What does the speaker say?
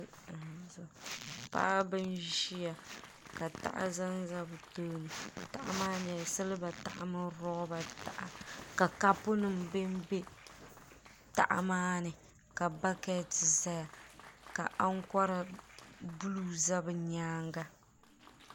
Paɣaba n ʒia ka taha zanza bɛ tooni taha maa nyɛla siliba taha mini loba taha ka kapu nima benbe taha maani ka baketi ʒɛya ka ankora buluu za bɛ nyaanga.